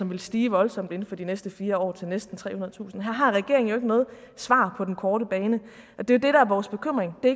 vil stige voldsomt inden for de næste fire år til næsten trehundredetusind her har regeringen jo ikke noget svar på den korte bane og det er det der er vores bekymring det